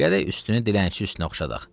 Gərək üstünü dilənçi üstünə çıxardaq.